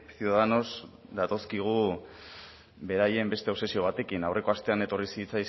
ciudadanos datozkigu beraien beste obsesio batekin aurreko astean etorri